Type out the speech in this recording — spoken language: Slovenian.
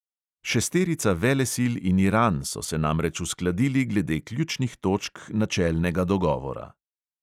Šesterica velesil in iran so se namreč uskladili glede ključnih točk načelnega dogovora.